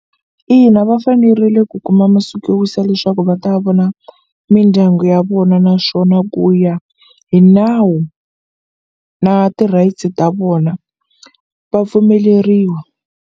Ina va fanerile ku kuma masiku yo wisa leswaku va ta vona mindyangu ya vona naswona ku ya hi nawu na ti-rights ta vona va pfumeleriwa.